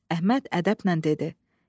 Əhməd ədəblə dedi: